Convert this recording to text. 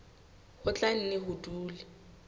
ho tla nne ho dule